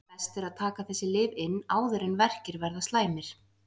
Best er að taka þessi lyf inn áður en verkir verða slæmir.